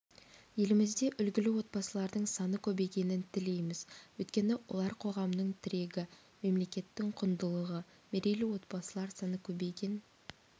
елімізде үлгілі отбасылардың саны көбейгенін тілейміз өйткені олар қоғамның тірегі мемлекеттің құндылығы мерейлі отбасылар саны көбейген